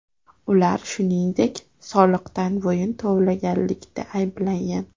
Ular shuningdek, soliqdan bo‘yin tovlaganlikda ayblangan.